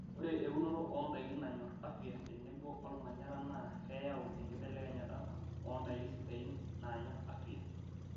Ore eunoto oo ndaiki naanyor afya tenebo olmanyara naa keyau enkibelekenyata oondaiki sidain naanyor afya.